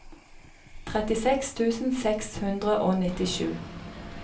trettiseks tusen seks hundre og nittisju